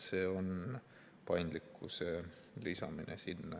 See on paindlikkuse lisamine sinna.